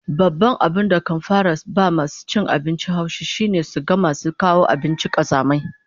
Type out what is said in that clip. Babban abin da kan fara ba masu cin abinci haushi shine su ga masu kawo abinci kazamai